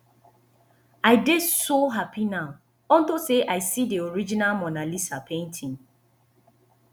i dey so happy now unto say i see the original mona lisa painting